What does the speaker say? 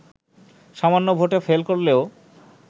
সামান্য ভোটে ফেল করলেও